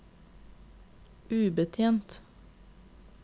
ubetjent